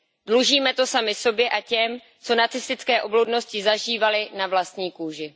Dlužíme to sami sobě a těm, co nacistické obludnosti zažívali na vlastní kůži.